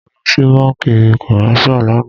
Mo lọ sí bánkì commercial lànà.